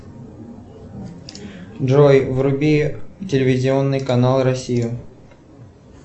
джой вруби телевизионный канал россия